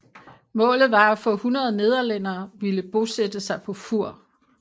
Målet var at få 100 nederlændere ville bosætte sig på Fur